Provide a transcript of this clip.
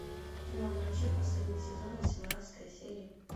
кино врачи последний сезон восемнадцатая серия